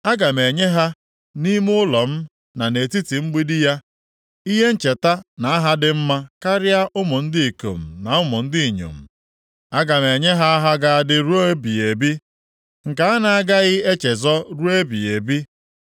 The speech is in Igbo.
Aga m enye ha nʼime ụlọ m na nʼetiti mgbidi ya, ihe ncheta na aha dị mma karịa ụmụ ndị ikom na ụmụ ndị inyom. Aga m enye ha aha ga-adị ruo ebighị ebi nke a na-agaghị echezọ ruo ebighị ebi.